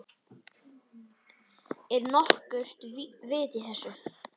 Er nokkurt vit í þessu?